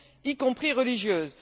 y compris religieuse.